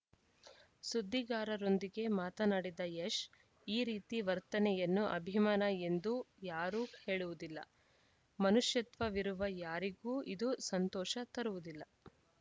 ಸುದ್ದಿಗಾರರೊಂದಿಗೆ ಮಾತನಾಡಿದ ಯಶ್‌ ಈ ರೀತಿ ವರ್ತನೆಯನ್ನು ಅಭಿಮಾನ ಎಂದೂ ಯಾರೂ ಹೇಳುವುದಿಲ್ಲ ಮನುಷ್ಯತ್ವವಿರುವ ಯಾರಿಗೂ ಇದೂ ಸಂತೋಷ ತರುವುದಿಲ್ಲ